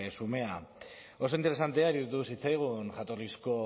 xumea oso interesantea iruditu zitzaigun jatorrizko